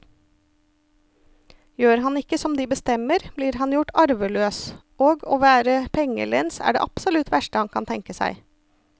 Gjør han ikke som de bestemmer, blir han gjort arveløs, og å være pengelens er det absolutt verste han kan tenke seg.